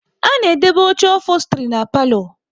A na edobe oche ofostri na palo